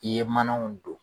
I ye manaw don.